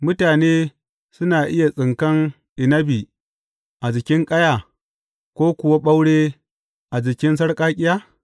Mutane suna iya tsinkan inabi a jikin ƙaya, ko kuwa ɓaure a jikin sarƙaƙƙiya?